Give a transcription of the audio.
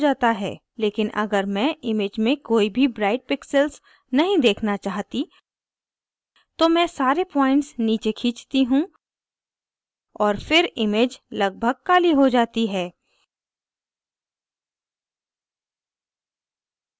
लेकिन अगर मैं image में कोई भी bright pixels नहीं देखना चाहती तो मैं सारे points नीचे खींचती हूँ और फिर image लगभग काली हो जाती है